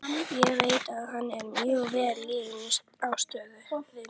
Ég veit að hann er mjög vel liðinn á stöðinni.